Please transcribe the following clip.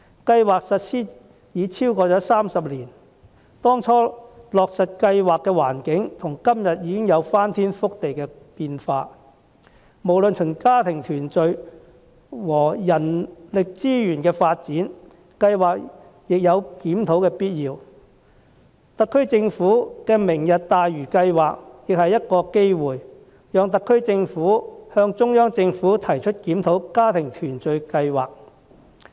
計劃實施已超過30年，當初落實計劃的環境到今天已有翻天覆地的變化，無論從家庭團聚或人力資源發展的角度來看，計劃也有檢討的必要，特區政府的"明日大嶼"計劃亦提供機會，讓特區政府向中央政府提出檢討家庭團聚計劃。